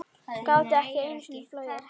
Gátu ekki einu sinni flogið.